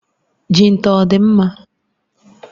Jinta ọ dị mma?